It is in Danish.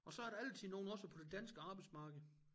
Og så er der altid nogle også på det danske arbejdsmarked